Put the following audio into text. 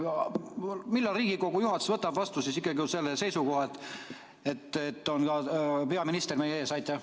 Millal Riigikogu juhatus võtab vastu selle otsuse, et peaminister on meie ees?